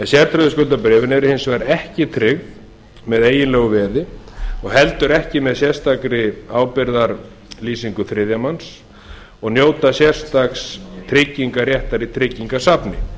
sértryggðu skuldabréfin eru hins vegar ekki tryggð með eiginlegu veði og heldur ekki með sérstakri ábyrgðarlýsingu þriðja manns og njóta sérstaks tryggingaréttar í tryggingasafni